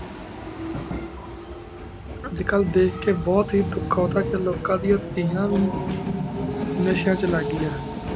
age ਕਲ ਧ੍ਖ ਕੀ ਬੁਹਤ ਹੇ ਦੁਖ ਹੁੰਦਾ ਕੀ ਲੁਕਣ ਦਯਾਨ ਤੇਯਾਂ ਵੀ ਨਾਸ਼ਨ ਚ ਲਾਘੇਆਯਨ ਹੁਣ